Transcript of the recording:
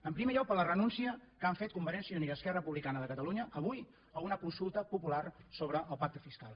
en primer lloc per la renúncia que han fet convergència i unió i esquerra republicana de catalunya avui a una consulta popular sobre el pacte fiscal